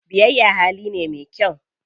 Biyayya hali ne me kyau.